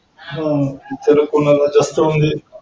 हा कोणाला जास्त म्हणजे.